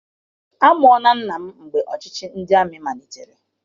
Amụọla nna m mgbe ọchịchị ndị amị malitere.